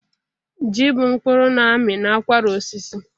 Ji bụ mkpụrụ na-ami n'akwara osisi.